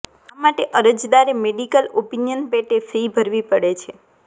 આ માટે અરજદારે મેડીકલ ઓપિનિયન પેટે ફી ભરવી પડે છે